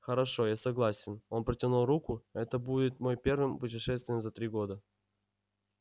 хорошо я согласен он протянул руку это будет мой первым путешествием за три года